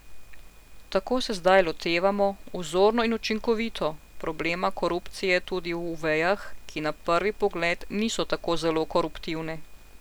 Tako se zdaj lotevamo, vzorno in učinkovito, problema korupcije tudi v vejah, ki na prvi pogled niso tako zelo koruptivne.